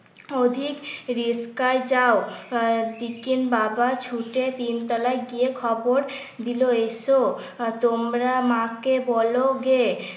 রিসকায় যাও। বাবা ছুটে তিনতলায় গিয়ে খবর দিল এসো তোমরা মাকে বলো গে। উত্তর